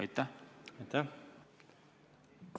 Aitäh!